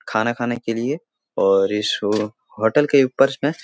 खाना खाने के लिए और इस होटल के ऊपर मे --